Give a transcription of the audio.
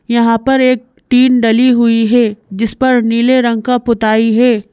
यहाँ पर एक टीन डली हुई है जिस पर नीले रंग का पुताई है।